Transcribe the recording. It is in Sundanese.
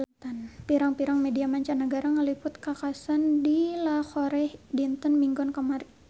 Pirang-pirang media mancanagara ngaliput kakhasan di Lahore dinten Minggon kamari